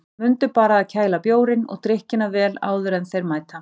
Mundu bara að kæla bjórinn og drykkina vel áður en þeir mæta.